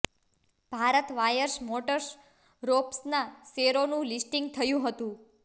Bharat wires motors રોપ્સના શેરોનું listing થયું હતું